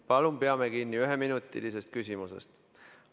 Palun peame kinni üheminutilise küsimuse nõudest.